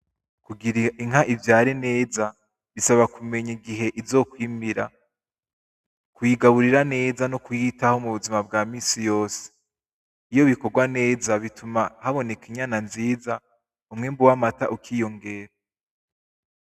kugira inka ivyare neza bisaba ku menya igihe izo kwimira, Kuyigaburira neza no kuyitaho mu buzima bwa minsi yose iyo bikorwa neza bituma haboneka inyana nziza umwimbu w'amata ukiyongera.